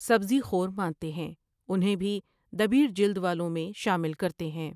سبزی خور مانتے ہیں انہیں بھی دبیر جلد والوں میں شامل کرتے ہیں ۔